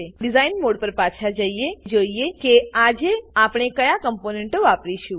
design mode પર પાછા જઈએ અને જોઈએ કે આજે આપણે કયા કમ્પોનેંટો વાપરીશું